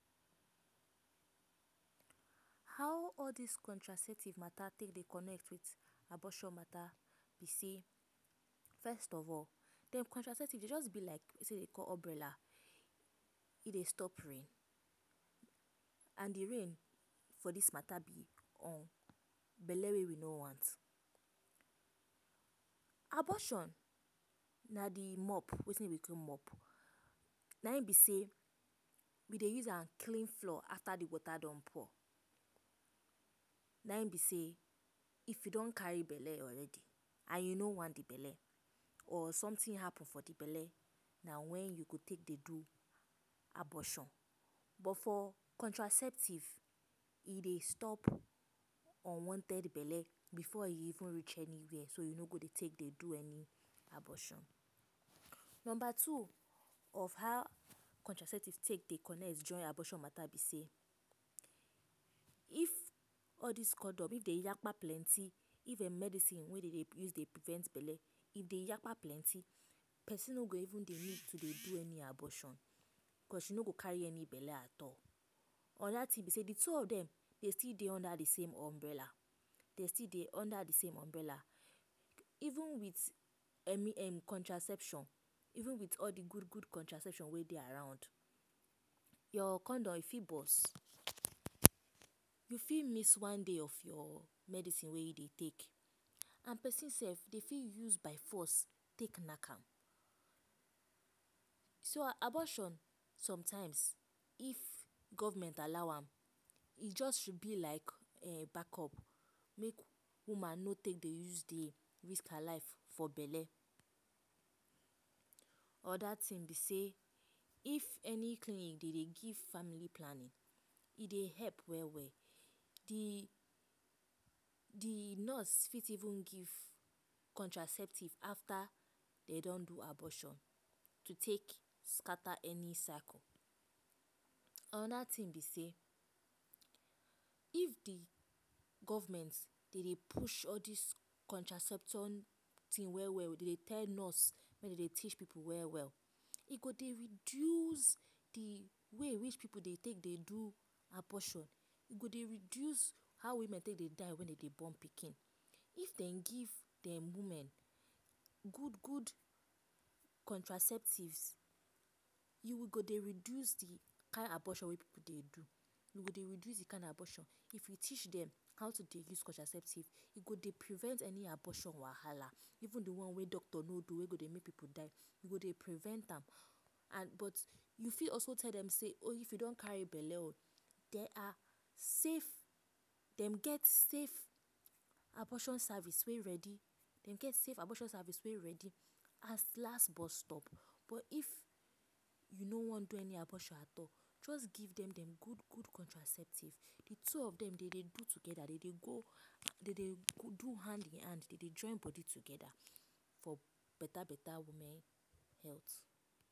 How all dis contraceptive dey take connect to abortion matter be say first of all de contraceptive just be like sometin whey dem dey call umbrella e dey stop rain and de rain for dis matter be or be belle whey we no want abortion na de mob wetin dem dey use mob nae m be sey dem dey use am clean floor if water don pour na em be sey if you don carry belle already and you no want de belle or sometin happen for de belle na wen you go take dey do abortion but for contraceptive e dey stop unwanted belle before e go reach any where so you no go dey take abortion number two of how contraceptives dey connect join abortion mata be sey if all dis condoms dem yakpa plenty if dem medicine whey dem dey use to prevent belle dem yakpa plenty person no go even need to do any abortioncause you no go carry any belle at all anoda tin be sey de two of dem still dey under de same umbrella even with contraception even wit de gud gud contraception whey around ur condom fit bust you fit miss one dey of ur medicine whey u dey take and person sef dem fit use by force take knack am so abortion some times if government allow e just be like back up make woman go use make she no dey risk her life for belle oda tin be sey if any clinic dem dey do family planning e dey help well well de nurse fit even give contraceptive after dey don do abortion to take scatter any circle anoda tin b sey if de government dem dey push dis contraception tin well well dem dey tell nurse dey teach pipo well well e go reduce de way whey pipo dey take do abortion e go dey reduce how women take dey die wen dem dey born pikin if dem give dem women good good contraceptive e go dey reduce de kind abortion whey pipo dey do e go reduce dis kind of abortion if dem teach dem how to de use contraceptive e go dey prevent any abortion wahala even de one whey doctor no do whey go dey make pipo die e go dey prevent am and but you fit also tell dem sey if you don carry belle o there are safe dem get safe abortion service whey ready safe abortion service whey ready as last bus stop but if u no wan do any abortion at all just give dem gud gud contraceptive de two of dem dem dey go togeda dem dey do hand to hand dem dey join body togeda for beta beta women health